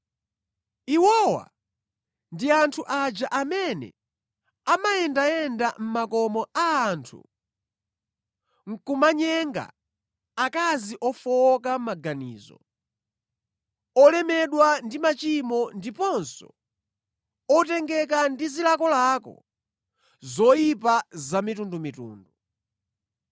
Iwowa ndi anthu aja amene amayendayenda mʼmakomo a anthu nʼkumanyenga akazi ofowoka mʼmaganizo, olemedwa ndi machimo ndiponso otengeka ndi zilakolako zoyipa zamitundumitundu,